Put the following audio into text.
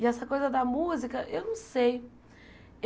E essa coisa da música, eu não sei.